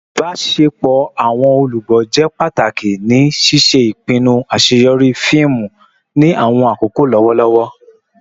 Ibaṣepọ awọn olugbo jẹ pataki ni ṣiṣe ipinnu aṣeyọri fiimu ni awọn akoko lọwọlọwọ